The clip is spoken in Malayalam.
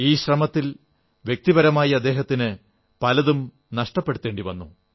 ഈ ശ്രമത്തിൽ വ്യക്തിപരമായി അദ്ദേഹത്തിന് പലതും നഷ്ടപ്പെടുത്തേണ്ടി വന്നു